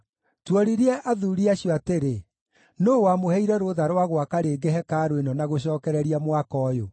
Tuoririe athuuri acio atĩrĩ, “Nũũ wamũheire rũtha rwa gwaka rĩngĩ hekarũ ĩno na gũcookereria mwako ũyũ?”